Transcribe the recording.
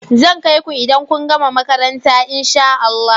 Zan kai ku idan kun gama makaranta in sha Allah.